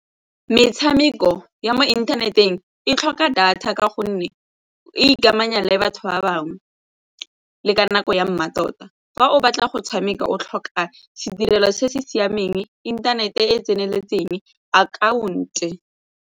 Metshameko ya mo inthaneteng e tlhoka data ka gonne o ikamanya le batho ba bangwe le ka nako ya mmatota. Fa o batla go tshameka o tlhoka sedirela se se siameng, inthanete e e tseneletseng, akhaonto.